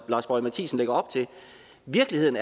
lars boje mathiesen lægger op til virkeligheden